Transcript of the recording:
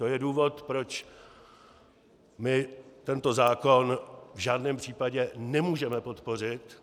To je důvod, proč my tento zákon v žádném případě nemůžeme podpořit.